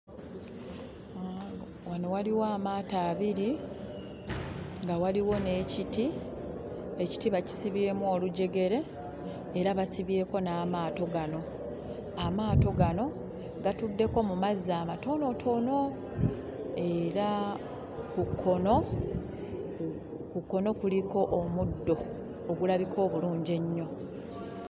Wano waliwo amaato abiri nga waliwo n'ekiti. Ekiti bakisibyemu olujegere era basibyeko n'amaato gano. Amaato gano gatuddeko mu mazzi amatonotono era ku kkono kuliko omuddo ogulabika obulungi ennyo